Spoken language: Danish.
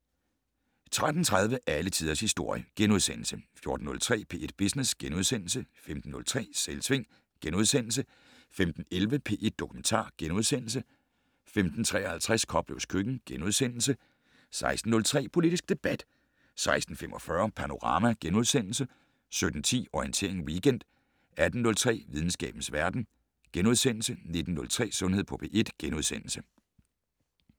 13:30: Alle tiders historie * 14:03: P1 Business * 15:03: Selvsving * 15:11: P1 Dokumentar * 15:53: Koplevs køkken * 16:03: Politisk debat 16:45: Panorama * 17:10: Orientering Weekend 18:03: Videnskabens verden * 19:03: Sundhed på P1 *